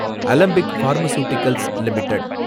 Alembic pharmaceuticals limited